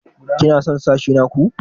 Ki na son sashi na ku?